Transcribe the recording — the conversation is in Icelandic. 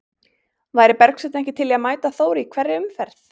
Væri Bergsveinn ekki til í að mæta Þór í hverri umferð?